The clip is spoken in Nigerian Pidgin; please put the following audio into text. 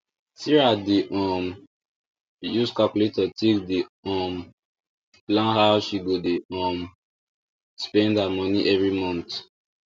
sarah dey um use calculator take dey um plan how she go dey um spend her money every month